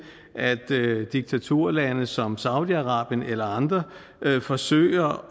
at diktaturlande som saudi arabien eller andre forsøger